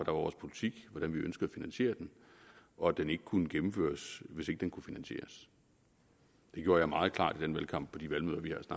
var vores politik hvordan vi ønskede finansiere den og at den ikke kunne gennemføres hvis ikke den kunne finansieres det gjorde jeg meget klart i den valgkamp på de valgmøder